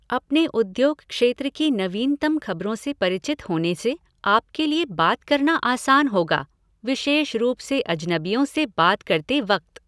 अपने उद्योग क्षेत्र की नवीनतम खबरों से परिचित होने से आपके लिए बात करना आसान होगा, विशेष रूप से अजनबियों से बात करते वक्त।